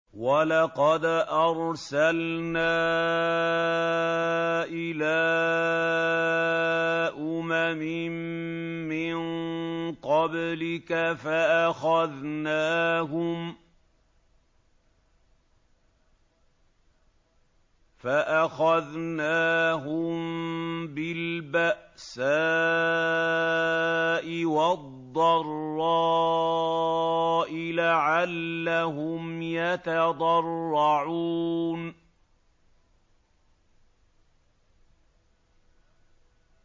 وَلَقَدْ أَرْسَلْنَا إِلَىٰ أُمَمٍ مِّن قَبْلِكَ فَأَخَذْنَاهُم بِالْبَأْسَاءِ وَالضَّرَّاءِ لَعَلَّهُمْ يَتَضَرَّعُونَ